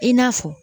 I n'a fɔ